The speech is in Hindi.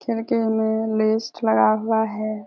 खिड़की में लेस्ट लगा हुआ है।